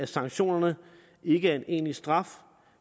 sanktionerne er ikke en egentlig straf